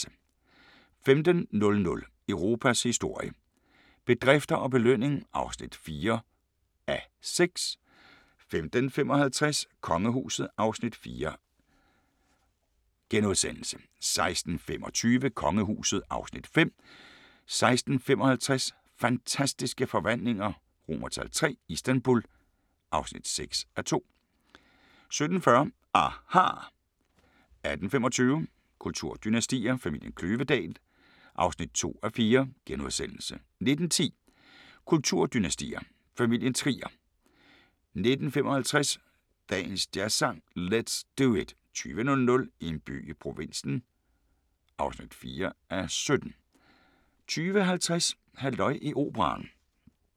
15:00: Europas historie – bedrifter og belønning (4:6) 15:55: Kongehuset (Afs. 4)* 16:25: Kongehuset (Afs. 5) 16:55: Fantastiske forvandlinger III – Istanbul (6:2)* 17:40: aHA! 18:25: Kulturdynastier: Familien Kløvedal (2:4)* 19:10: Kulturdynastier: Familien Trier 19:55: Dagens Jazzsang: Let's Do It * 20:00: En by i provinsen (4:17) 20:50: Halløj i operaen